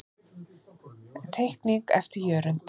Teikning eftir Jörund.